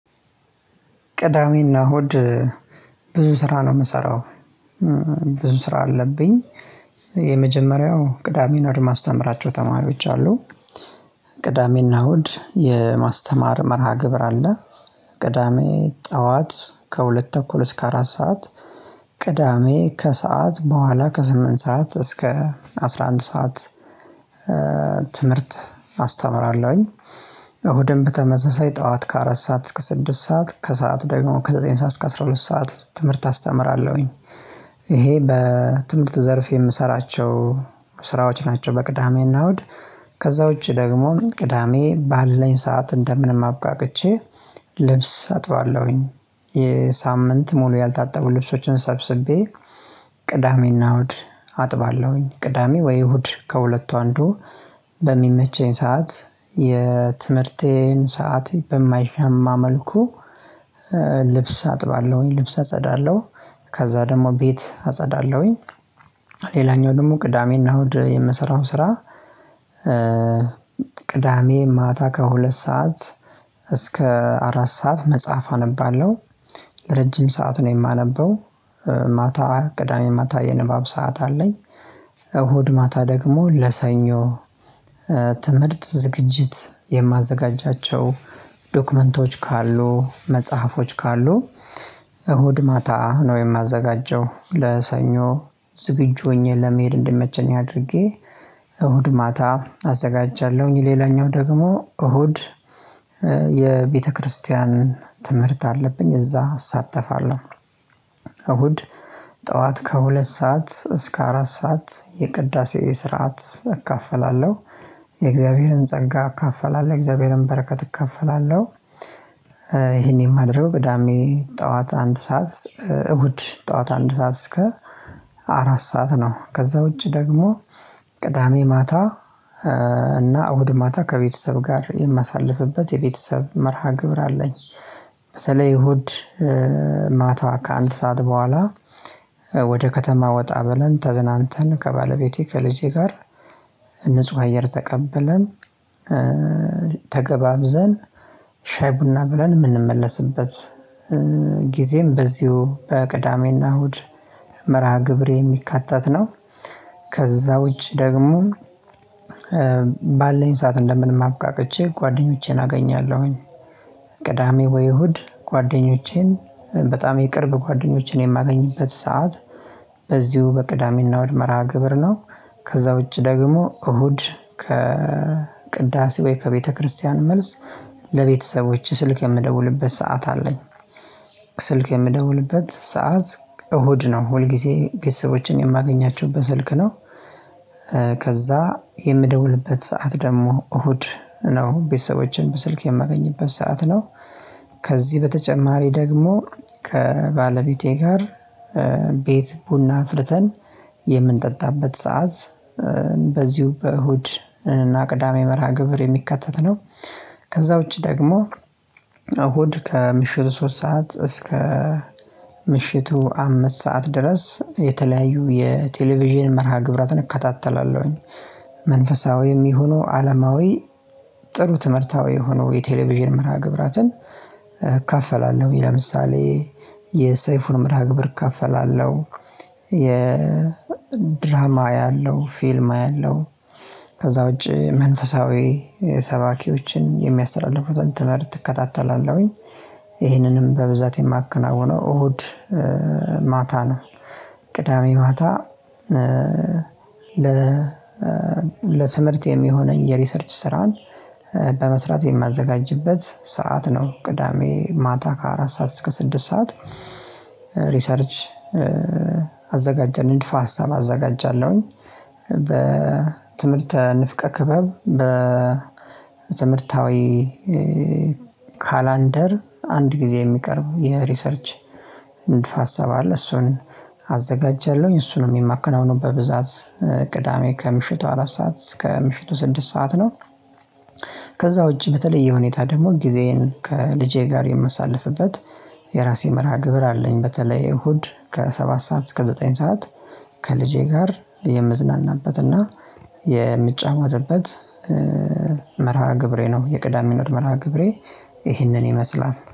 ቅዳሜና እሁድ ብዙ ስራ ነው የምሰራው። ብዙ ስራ አለብኝ። የመጀመሪያው ቅዳሜን እሁድ ማስተምራቸው ተማሪዎች አሉ። ቅዳሜና እሁድ የማስተማር መርሃ ግብር አለ። ቅዳሜ ጠዋት ከሁለት ተኩል እስከ አራት ሰዓት ቅዳሜ ከሰአት በኋላ ከስምንት ሰዓት እስከ አስራ አንድ ሰዓት። አስተምራለሁኝ። እሁድም በተመሳሳይ ጠዋት ከአራት ሰዓት እስከ ስድስት ሰዓት ከሰአት ደግሞ ከዘጠኝ ሰዓት እስከ አስራ ሁለት ሰዓት ትምህርት አስተምራለሁኝ። ይሄ በትምህርት ዘርፍ የምሰራቸው ስራዎች ናቸው በቅዳሜና እሁድ። ከዛ ውጪ ደግሞ ቅዳሜ ባለን ሰዓት እንደምንም አብቃቅቼ ልብስ አጥባለሁኝ የሳምንት ሙሉ ያልታጠቡ ልብሶችን ሰብስቤ ቅዳሜና እሁድ አጥባለሁኝ። ቅዳሜ ወይ እሁድ ከሁለቱ አንዱ በሚመቸኝ ሰዓት የትምህርቴን ሰዓት በማይሻማ መልኩ አጥባለሁኝ ልብስ አጸዳለሁ። ከዛ ደግሞ ቤት አጸዳለሁኝ። ሌላኛው ደግሞ ቅዳሜና እሁድ የምሰራው ስራ። ቅዳሜ ማታ ከሁለት ሰዓት እስከ አራት ሰዓት መጽሐፍ አነባለሁ። ረጅም ሰዓት ነው የማነበው። ማታ ቅዳሜ ማታ የንባብ ሰዓት አለኝ። እሁድ ማታ ደግሞ ለሰኞ ዝግጅት የማዘጋጃቸው ዶክመንቶች ካሉ መጽሐፎች ካሉ እሁድ ማታ ነው የማዘጋጀው ለሰኞ ዝግጁ ሆኜ ለመሄድ እንድመቸኝ አድርጌ እሁድ ማታ አዘጋጃለሁኝ። ሌላኛው ደግሞ እሁድ የቤተክርስቲያን ትምህርት አለብኝ እዛ አሳተፋለሁ። እሁድ ጠዋት ከሁለት ሰዓት እስከ አራት ሰዓት የቅዳሴ ስርዓት እካፈላለሁ የእግዚአብሔርን ጸጋ እካፈላለሁ የእግዚአብሔርን በረከት እካፈላለሁ። ይሄን የማድረግ ገዳሜ ጠዋት አንድ ሰዓት እሁድ ጠዋት አንድ ሰዓት እስከ አራት ሰዓት ነው። ከዛ ውጪ ደግሞ ቅዳሜ ማታ እና እሁድ ማታ ከቤተሰብ ጋር የማሳልፍበት የቤተሰብ መርሃ ግብር አለኝ። ስለ ይሁድ ማታ ከአንድ ሰዓት በኋላ ወደ ከተማ ወጣ በለን ተዝናንተን ከባለቤቴ ከልጄ ጋር ንጹህ አየር ተቀበለን። ተገባብዘን ሻይ ቡና ብለን የምንመለስበት ጊዜም በዚሁ በቅዳሜና እሁድ መርሃ ግብሬ የሚካተት ነው። ከዛ ውጪ ደግሞ ባለን ሰዓት እንደምንማብቃቅቼ ጓደኞቼን አገኛለሁኝ። ቅዳሜ ወይ እሁድ ጓደኞቼን በጣም የቅርብ ጓደኞቼን የማገኝበት ሰዓት በዚሁ በቅዳሜና እሁድ መራሃ-ግብር ነው። ከዛ ውጪ ደግሞ እሁድ ከቅዳሴ ወይ ከቤተክርስቲያን መልስ ለቤተሰቦች ስልክ የምደውልበት ሰዓት አለኝ። ስልክ የምደውልበት ሰዓት እሁድ ነው ሁል ጊዜ ቤተሰቦችን የማገኛቸውበት ስልክ ነው። ከዛ የምደውልበት ሰዓት ደግሞ እሁድ ነው ቤተሰቦችን በስልክ የማገኝበት ሰዓት ነው። ከዚህ በተጨማሪ ደግሞ ከባለቤቴ ጋር ቤት ቡና አፍልተን የምንጠጣበት ሰዓት በዚሁ በእሁድ እና ቅዳሜ መርሃ ግብር የሚከተት ነው። ከዛ ውጪ ደግሞ እሁድ ከምሽቱ ሶስት ሰዓት እስከ ምሽቱ አምስት ሰዓት ድረስ የተለያዩ የቴሌቪዥን መርሃ ግብራትን እከታተላለሁኝ። መንፈሳዊም ይሁኑ አለማዊ ጥሩ ትምህርታዊ የሆነው የቴሌቪዥን መርሃ ግብራትን እካፈላለሁ ለምሳሌ የሰይፉን መርሃ ግብር እካፈላለሁ። የ ድራማ አያለሁ ፊልም አያለሁ። ከዛ ውጪ መንፈሳዊ ሰባኪዎችን የሚያስተላልፉትን ትምህርት ትከታተላለሁኝ። ይህንንም በብዛት የማከናውነው እሁድ ማታ ነው። ቅዳሜ ማታ ለ ለትምህርት የሚሆነኝ የሪሰርች ስራን በመስራት የማዘጋጅበት ሰዓት ነው። ቅዳሜ ማታ ከአራት ሰዓት እስከ ስድስት ሰዓት ሪሰርች አዘጋጀን እንድፋ ሀሳብ አዘጋጃለሁኝ። በትምህርተ ንፍቀ ክበብ በትምህርታዊ ካላንደር አንድ ጊዜ የሚቀርቡ የሪሰርች ንድፈ-ሃሳብ አለ። እሱን አዘጋጀለሁኝ እሱንም የማከናውነው በብዛት ቅዳሜ ከምሽቱ አራት ሰዓት እስከ ምሽቱ ስድስት ሰዓት ነው። ከዛ ውጪ በተለየ ሁኔታ ደግሞ ጊዜዬን ከልጄ ጋር የምሳልፍበት የራሴ መርሃ ግብር አለኝ። በተለይ እሁድ ከሰባት ሰዓት እስከ ዘጠኝ ሰዓት ከልጄ ጋር የምዝናናበትና የምጫወትበት መርሃ ግብሬ ነው። የቅዳሜና እሁድ መርሃ ግብሬ ይህንን ይመስላል